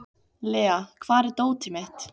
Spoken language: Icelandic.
Lea, hvar er dótið mitt?